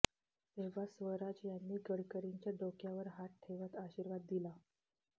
तेव्हा स्वराज यांनी गडकरींच्या डोक्यावर हात ठेवत आशीर्वाद दिला